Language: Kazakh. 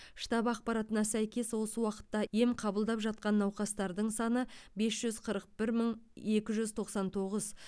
штаб ақпаратына сәйкес осы уақытта ем қабылдап жатқан науқастардың саны бес жүз қырық бір мың екі жүз тоқсан тоғыз